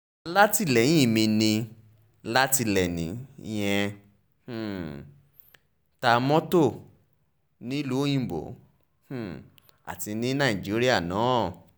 alátìlẹyìn mi ni látìléènì yẹn ń um ta mọ́tò mọ́tò nílùú òyìnbó um àti ní nàìjíríà náà